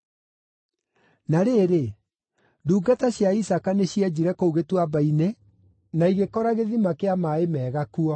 Na rĩrĩ, ndungata cia Isaaka nĩcienjire kũu gĩtuamba-inĩ na igĩkora gĩthima kĩa maaĩ mega kuo.